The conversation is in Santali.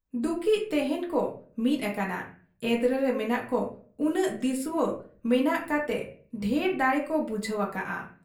ᱫᱩᱠᱤᱡ ᱛᱮᱦᱮᱧ ᱠᱚ ᱢᱤᱫ ᱟᱠᱟᱱᱟ ᱾ ᱮᱫᱽᱨᱮᱨᱮ ᱢᱮᱱᱟᱜ ᱠᱚ ᱩᱱᱟᱹᱜ ᱫᱤᱥᱩᱣᱟᱹ ᱢᱮᱱᱟᱜ ᱠᱟᱛᱮ ᱰᱷᱮᱨ ᱫᱟᱲᱮᱠᱚ ᱵᱩᱡᱷᱟᱹᱣ ᱟᱠᱟᱜ ᱟ ᱾